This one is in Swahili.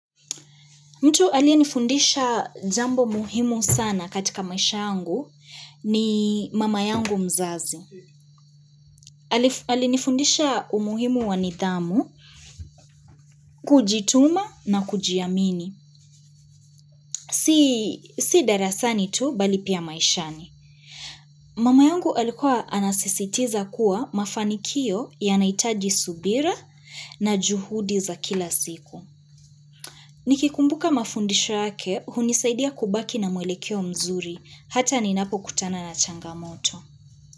Mtu aliyenifundisha jambo muhimu sana katika maisha yangu ni mama yangu mzazi. Alinifundisha umuhimu wa nidhamu, kujituma na kujiamini. Si darasani tu bali pia maishani. Mama yangu alikuwa anasisitiza kuwa mafanikio yanahitaji subira na juhudi za kila siku. Nikikumbuka mafundisho yake hunisaidia kubaki na mwelekeo mzuri. Hata ninapokutana na changamoto.